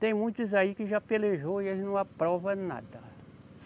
Tem muitos aí que já pelejou e eles não aprova nada.